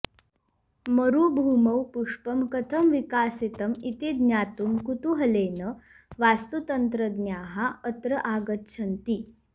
मरुभूमौ पुष्पं कथं विकासितम् इति ज्ञातुं कुतूहलेन वास्तुतन्त्रज्ञाः अत्र आगच्छन्ति